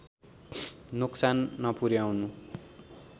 नोक्सान नपुर्‍याउनु